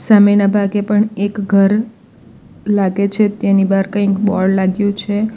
સામેના ભાગે પણ એક ઘર લાગે છે તેની બહાર કંઈક બોર્ડ લાગ્યું છે.